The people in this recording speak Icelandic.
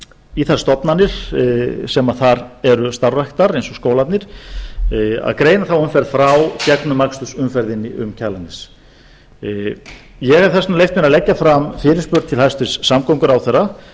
í þær stofnanir sem þar eru starfræktar eins og skólarnir að greina þá umferð frá gegnumakstursumferðinni um kjalarnes ég hef þess vegna leyft mér að leggja fram fyrirspurn til hæstvirts samgönguráðherra